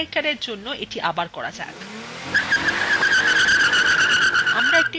অন্য connectorএর জন্য এটি আবার করা যাক